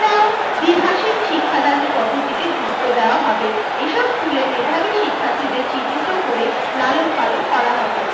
দ্বিভাষিক শিক্ষাদানের পদ্ধতিকে গুরুত্ব দেওয়া হবে। এসব school এ মেধাবী শিক্ষার্থীদের চিহ্নিত করে লালন পালন করা হবে।